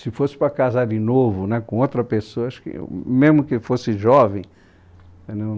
Se fosse para casar de novo, com outra pessoa, eu, mesmo que fosse jovem, eu